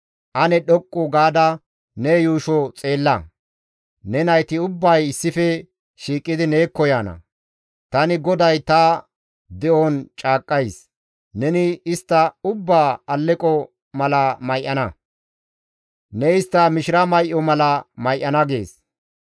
Ane dhoqqu gaada ne yuusho xeella; ne nayti ubbay issife shiiqidi neekko yaana. Tani GODAY ta de7on caaqqays; neni istta ubbaa alleqo mala may7ana; ne istta mishira may7o mala may7ana» gees.